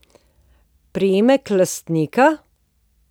Priimek lastnika?